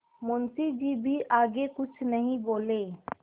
मुंशी जी भी आगे कुछ नहीं बोले